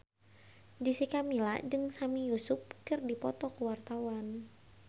Jessica Milla jeung Sami Yusuf keur dipoto ku wartawan